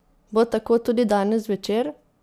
Bo tako tudi danes zvečer?